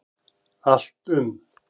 Allt um